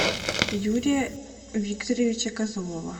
юрия викторовича козлова